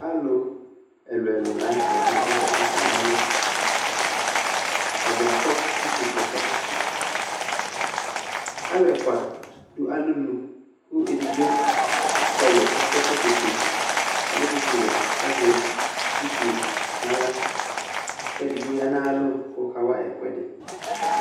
Alʋ ɛlʋ-ɛlʋ la nʋ tɛ dʋ ɛvɛ, kʋ akana ɔlʋ, atadza akɔ utukɔtɔ, alʋ ɛfʋa dʋ alonu, kʋ edigbo ɔkɔlʋ kʋ akɔ ɛkɔtɔ fue, adʋ tsɩtsɩ wɛ, kʋ azɛ utu yɛ nʋ aɣla, kʋ edigbo ya nʋ ayʋ alɔ kʋ ɔkawa ɛkʋɛdɩ